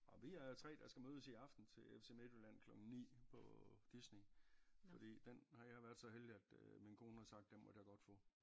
Nåh vi er 3 der skal mødes i aften til FC Midtjylland klokken 9 på Disney fordi den har jeg været så heldig at øh min kone har sagt den måtte jeg godt få